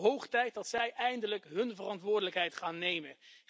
Hoog tijd dat zij eindelijk hun verantwoordelijkheid gaan nemen.